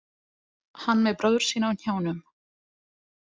Hann með bróður sinn á hnjánum.